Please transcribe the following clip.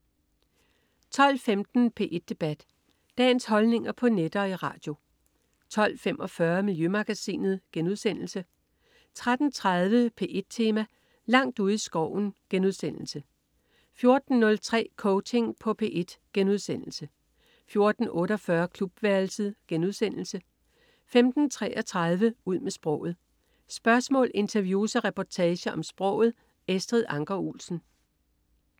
12.15 P1 Debat. Dagens holdninger på net og i radio 12.45 Miljømagasinet* 13.30 P1 Tema: Langt ude i skoven* 14.03 Coaching på P1* 14.48 Klubværelset* 15.33 Ud med sproget. Spørgsmål, interview og reportager om sproget. Estrid Anker Olsen